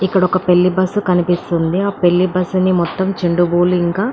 ఇక్కడొక పెళ్లి బస్సు కనిపిస్తుంది ఆ పెళ్లి బస్సు ని మొత్తం ఇంకా --